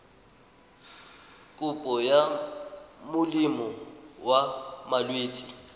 kopo ya molemo wa malwetse